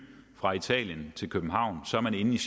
fra italien til københavn er man inde